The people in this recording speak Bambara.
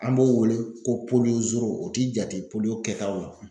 An b'o wele ko zoro o ti jate kɛtaw la.